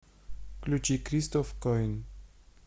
включи кристоф коин